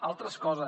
altres coses